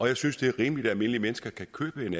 jeg synes det er rimeligt at almindelige mennesker kan købe en